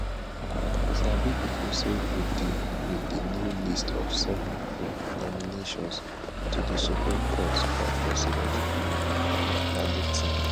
sabi pipo say wit di wit di new list of 7 um nominations to di supreme court by president um mahama na good tin